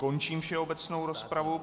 Končím všeobecnou rozpravu.